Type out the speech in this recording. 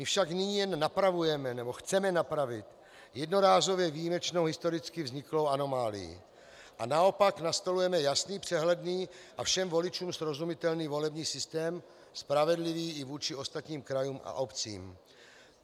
My však nyní jen napravujeme, nebo chceme napravit, jednorázově výjimečnou, historicky vzniklou anomálii a naopak nastolujeme jasný, přehledný a všem voličům srozumitelný volební systém, spravedlivý i vůči ostatním krajům a obcím.